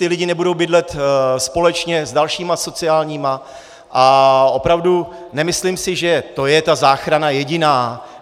Ti lidé nebudou bydlet společně s dalšími sociálními - a opravdu nemyslím si, že to je ta záchrana jediná.